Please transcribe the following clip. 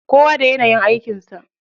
Kowa da yanayin aikin sa.